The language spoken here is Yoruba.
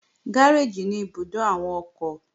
Gáréèjì ní ibùdó àwọn ọkọ̀